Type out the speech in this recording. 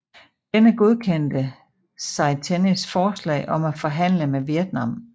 Denne godkendte Saintenys forslag om at forhandle med Vietnam